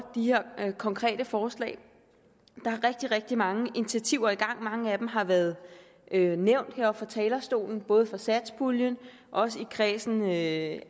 de her konkrete forslag der er rigtig rigtig mange initiativer i gang mange af dem har været nævnt heroppe fra talerstolen både fra satspuljen og også i kredsen af